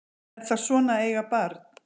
Er það svona að eiga barn?